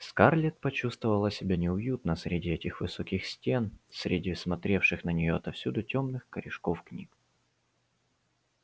скарлетт почувствовала себя неуютно среди этих высоких стен среди смотревших на неё отовсюду тёмных корешков книг